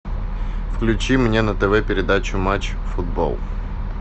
включи мне на тв передачу матч футбол